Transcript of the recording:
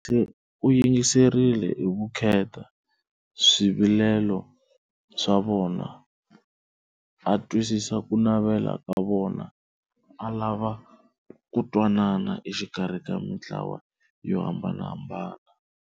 U yingiserile hi vukheta swivilelo swa vona, a twisisa ku navela ka vona, a lava ku twanana exikarhi ka mintlawa yo hambanahambana.